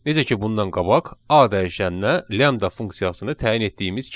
Necə ki bundan qabaq a dəyişənə lambda funksiyasını təyin etdiyimiz kimi.